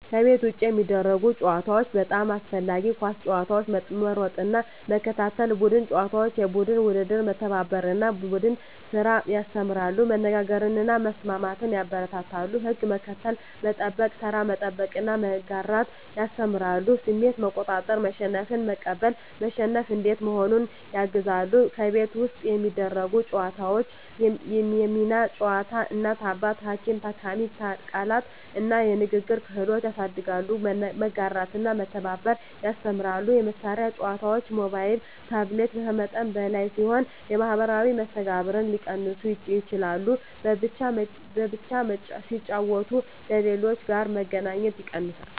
ከቤት ውጭ የሚደረጉ ጨዋታዎች (በጣም አስፈላጊ) ኳስ መጫወት መሮጥና መከታተል ቡድን ጨዋታዎች (የቡድን ውድድር) መተባበርን እና ቡድን ስራን ያስተምራሉ መነጋገርን እና መስማትን ያበረታታሉ ሕግ መከተል፣ መጠበቅ (ተራ መጠበቅ) እና መጋራት ያስተምራሉ ስሜት መቆጣጠር (መሸነፍን መቀበል፣ መሸነፍ እንዴት መሆኑን) ያግዛሉ ከቤት ውስጥ የሚደረጉ ጨዋታዎች የሚና ጨዋታ (እናት–አባት፣ ሐኪም–ታካሚ) ቃላት እና ንግግር ክህሎት ያሳድጋሉ መጋራትና መተባበር ያስተምራሉ የመሳሪያ ጨዋታዎች (ሞባይል/ታብሌት) ከመጠን በላይ ሲሆኑ የማኅበራዊ መስተጋብርን ሊቀንሱ ይችላሉ በብቻ ሲጫወቱ ከሌሎች ጋር መገናኘት ይቀንሳል